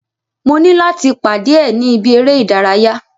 Mo ní láti pàdé ẹ̀ ni ibi eré ìdárayá.